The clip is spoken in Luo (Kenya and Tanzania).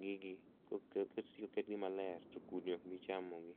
gigi koket, koseketgi maler to kudni okbi chamogi